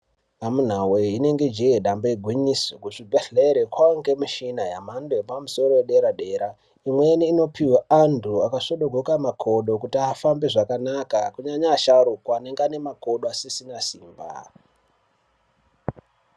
Amunawe inenge jee dambe igwinyiso kuzvibhehleya kwaange nemishina yemhando yepamusoro yederadera imweni inopiwe anhu akasvodogoka makodo kuti afambe zvakanaka kunyanya asharukwa anenge anemakodo asisina simba.